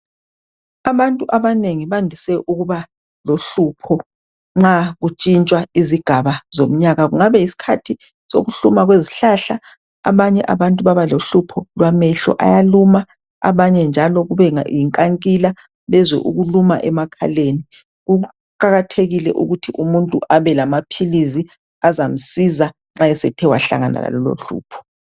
Abantu abanengi bandise ukuba lohlupho nxa kutshintshwa izigaba zomnyaka kungabe yisikhathi sokuhluma kwezihlahla abanye abantu baba lohlupho lwamehlo ayaluma abanye njalo kube yinkankila bezwe ukuluma emakhaleni. Kuqakathekile ukuthi umuntu abe lamaphilisi azamsiza nxa esethe wahlangana lalolohlupho.